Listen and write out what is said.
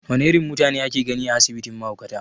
Wane irin mutane ake gani a asibitin mahaukata?